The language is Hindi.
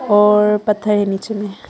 और पत्थर है नीचे में।